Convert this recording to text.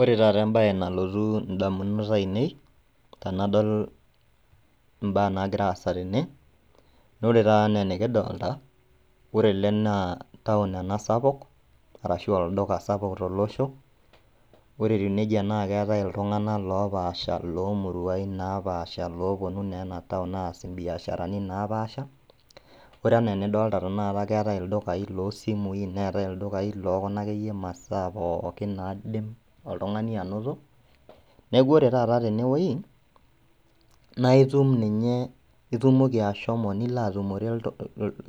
Ore tata embaye nalotu indamunot ainei tenadol imbaa nagiraasa tene naaore tata anaa enikidolta ore ele naa town ena sapuk arashu olduka sapuk tolosho, ore etiu neija naakeetai iltung'anak loopaasha loomurain naapaasha loopuonu neenataun aas imbiasharani naapaasha. Ore ana enidolta tenakata keetai ildukai loosimui neetai ildukai lookuna akeyie masaa pookin naidim oltung'ani anoto. Neaku ore tata tenewuei naaitum ninye, itumoki ashomo niloatumore iltung'